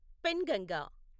Penganga